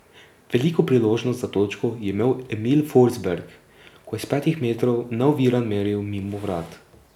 Veliko priložnost za točko je imel Emil Forsberg, ko je s petih metrov neoviran meril mimo vrat.